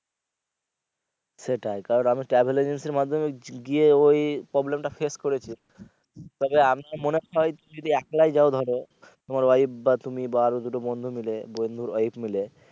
সেটাই কারণ আমি travel agency এর মাধ্যমে গিয়ে ওই problem টা ফেস করেছি তবে আমি মনে চাই যদি একলাই যাও ধরো তোমার wife বা তুমি বা আরো যদি বন্ধু মিলে বন্ধুর wife মিলে